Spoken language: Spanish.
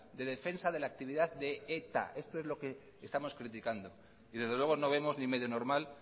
de defensa de la actividad de eta esto es lo que estamos criticando y desde luego no vemos ni medio normal